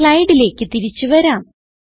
സ്ലൈഡിലേക്ക് തിരിച്ച് വരാം